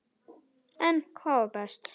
En hvað var best?